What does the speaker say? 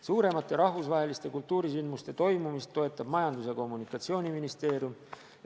Suuremate rahvusvaheliste kultuurisündmuste toimumist toetab Majandus- ja Kommunikatsiooniministeerium.